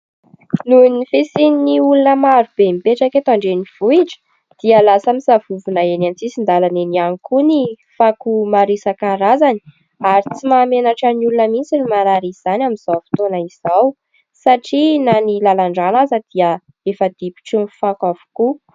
Noho ny fisian'ny olona marobe mipetraka eto an-drenivohitra dia lasa misavovona eny an-tsisin-dalana eny ihany koa ny fako maro isankarazany ary tsy mahamenatra ny olona mihitsy ny manary izany amin'izao fotoana izao satria na ny lalan-drano aza dia efa difotry ny fako avokoa.